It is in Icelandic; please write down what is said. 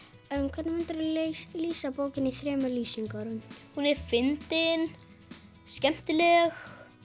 hvernig myndirðu lýsa bókinni í þremur lýsingarorðum hún er fyndin skemmtileg